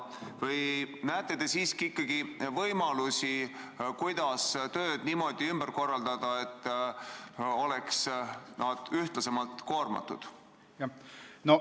Või näete te siiski võimalusi, kuidas tööd niimoodi ümber korraldada, et nad oleks ühtlasemalt koormatud?